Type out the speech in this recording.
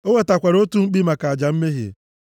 O wetakwara otu mkpi maka aja mmehie,